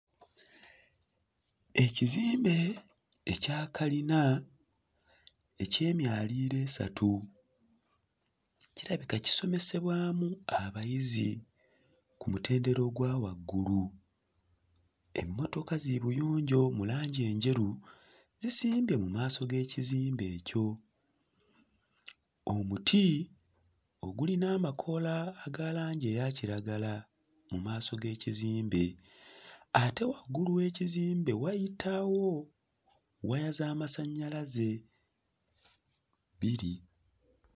Ekizimbe ekya kalina eky'emyaliiro esatu kirabika kisomesebwamu abayizi ku mutendera ogwa waggulu. Emmotoka zibuyonjo mu langi enjeru zisimbye mu maaso g'ekizimbe ekyo. Omuti ogulina amakoola aga langi eya kiragala mu maaso g'ekizimbe ate waggulu w'ekizimbe wayitawo waya z'amasannyalaze bbiri.